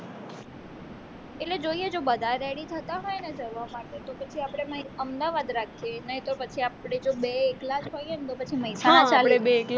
એટલે જોઈએ જો બધા ready થતા હોઈને જવા માટે તો પછી આપણે અમદાવાદ રાખીએ નહીં તો પછી આપણે જો બે એકલા જ હોય ને તો મેહસાણા ચાલે